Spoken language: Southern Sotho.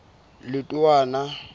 letowana